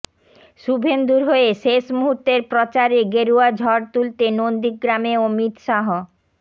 শুভেন্দুর হয়ে শেষ মুহূর্তের প্রচারে গেরুয়া ঝড় তুলতে নন্দীগ্রামে অমিত শাহ